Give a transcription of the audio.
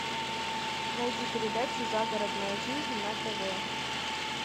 найди передачу загородная жизнь на тв